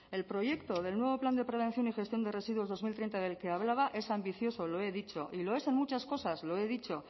el proyecto del nuevo plan de prevención y gestión de residuos dos mil treinta del que hablaba es ambicioso y lo he dicho y lo es en muchas cosas lo he dicho